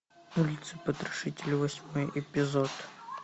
улица потрошителя восьмой эпизод